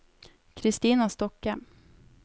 Kristina Stokke